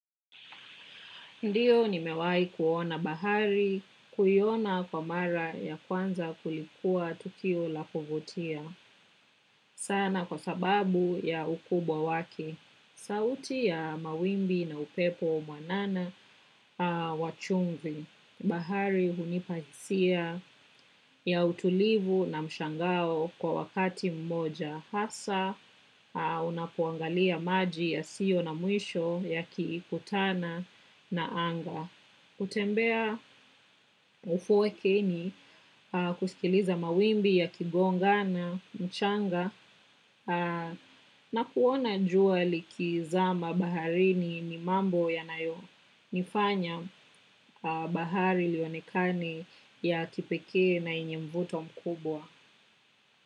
Ndiyo ni mewahi kuona bahari, kuiona kwa mara ya kwanza kulikua tukio la kuvutia. Sana kwa sababu ya ukubwa waki. Sauti ya mawimbi na upepo mwanana wa chumvi. Bahari hunipahisia ya utulivu na mshangao kwa wakati mmoja. Hasa unapoangalia maji yasiyo na mwisho yakikutana na anga kutembea ufuwekeni kusikiliza mawimbi yakigongana mchanga na kuona jua likizama baharini ni mambo yanayonifanya bahari lionekane ya kipekee na yenye mvuto mkubwa.